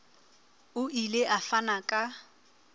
o ile a fana ka